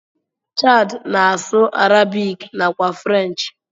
Chard na asụ arabic nakwa french.